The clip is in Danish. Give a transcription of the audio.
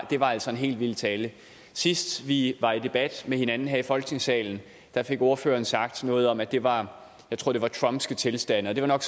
det var altså en helt vild tale sidst vi var i debat med hinanden her i folketingssalen fik ordføreren sagt noget om at det var tror jeg trumpske tilstande det var nok